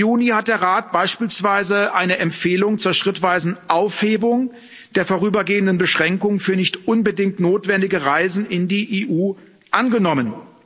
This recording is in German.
30. Juni hat der Rat beispielsweise eine Empfehlung zur schrittweisen Aufhebung der vorübergehenden Beschränkung für nicht unbedingt notwendige Reisen in die EU angenommen.